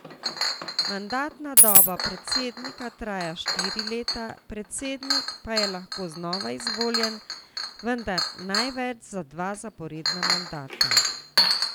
Mandatna doba predsednika traja štiri leta, predsednik pa je lahko znova izvoljen, vendar največ za dva zaporedna mandata.